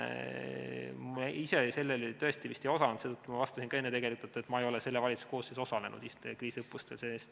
Ma ise sellel tõesti ei osalenud, seetõttu ma vastasin ka enne, et ma ei ole selle valitsuse koosseisus kriisiõppustel osalenud.